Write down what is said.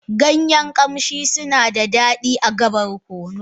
Ganyen ƙamshi suna da daɗi ga barkono.